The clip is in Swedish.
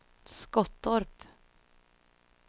Skottorp